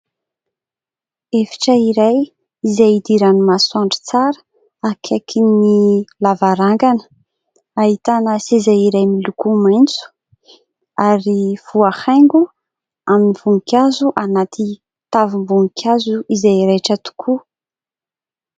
Efitra iray izay idiran'ny masoandro tsara akaikin'ny lavarangana, ahitana seza iray miloko maitso ary voahaingo amin'ny voninkazo anaty tavim-boninkazo izay raitra tokoa.